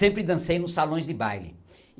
Sempre dancei nos salões de baile.